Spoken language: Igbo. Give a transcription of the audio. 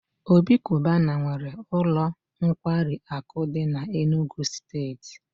Obi cubana nwee ulo nkwari aku di n'Enugwu steeti